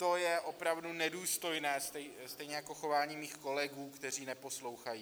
To je opravdu nedůstojné, stejně jako chování mých kolegů, kteří neposlouchají.